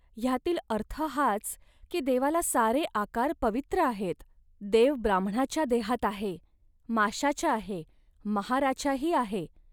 ह्यातील अर्थ हाच, की देवाला सारे आकार पवित्र आहेत. देव ब्राम्हणाच्या देहात आहे, माशाच्या आहे, महाराच्याही आहे